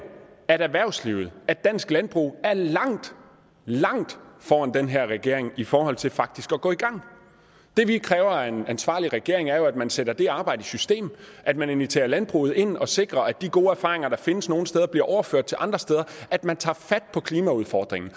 at erhvervslivet og dansk landbrug er langt langt foran den her regering i forhold til faktisk at gå i gang det vi kræver af en ansvarlig regering er jo at man sætter det arbejde i system at man inviterer landbruget ind og sikrer at de gode erfaringer der findes nogle steder bliver overført til andre steder at man tager fat på klimaudfordringen